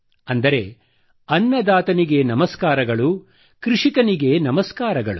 ಅಂದರೆ ಅನ್ನದಾತನಿಗೆ ನಮಸ್ಕಾರಗಳು ಕೃಷಿಕನಿಗೆ ನಮಸ್ಕಾರಗಳು